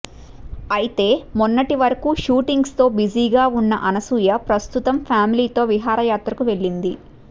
అయితే మొన్నటి వరకు షూటింగ్స్తో బిజీగా ఉన్న అనసూయ ప్రస్తుతం ఫ్యామిలీతో విహార యాత్రకి వెళ్ళింది